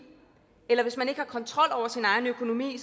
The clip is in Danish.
eller hvis man ikke har kontrol over sin egen økonomi